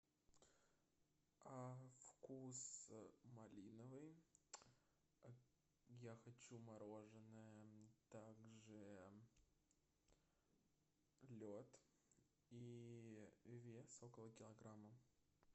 вкус малиновый я хочу мороженое также лед и вес около килограмма